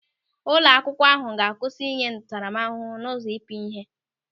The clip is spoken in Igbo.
Ụlọ akwụkwọ ahụ ga-akwụsị ịnye ntaramahụhụ n'ụzọ ịpịa ịhe.